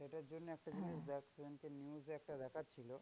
সেটার জন্যে একটা জিনিস দেখ সেদিনকে news একটা দেখাচ্ছিল।